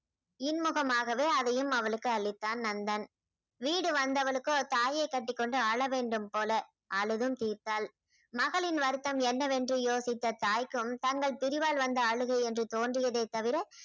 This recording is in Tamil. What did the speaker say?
இன்முகமாகவே அதையும் அவளுக்கு அளித்தான் நண்பன் வீடு வந்தவளுக்கோ தாயை கட்டிக் கொண்டு அழ வேண்டும் போல அழுதும் தீர்த்தால் மகளின் வருத்தம் என்னவென்று யோசித்த தாய்க்கும் தங்கள் பிரிவால் வந்த அழுகை என்று தோன்றியதைத் தவிர